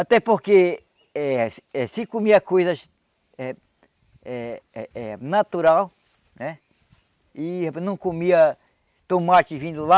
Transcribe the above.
Até porque eh eh se comia coisas eh eh eh eh eh natural, né, e não comia tomate vindo lá,